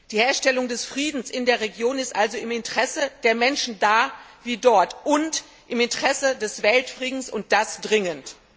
Die Herstellung des Friedens in der Region ist also im Interesse der Menschen da wie dort und im Interesse des Weltfriedens, und das dringend.